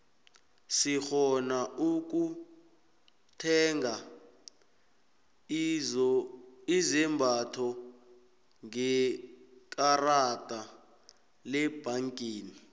sirhona ukutheiga izombatho ngekarada lebhangeni